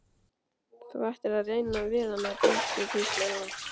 Þú ættir að reyna við hana Dísu, hvíslar hún.